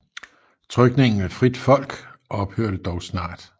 Trykningen af Fritt Folk ophørte dog snart